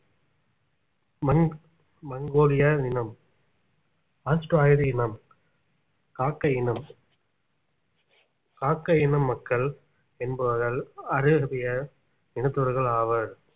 மண் மங்கோலிய இனம் ஆஸ்டரலாய்டு இனம் காக்கை இனம் காக்கை இன மக்கள் என்பவர்கள் ஐரோப்பிய இனத்தவர்கள் ஆவர்